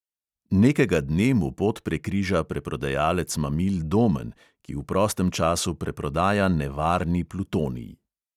Nekega dne mu pot prekriža preprodajalec mamil domen, ki v prostem času preprodaja nevarni plutonij.